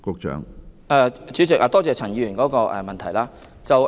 主席，多謝陳議員提出的補充質詢。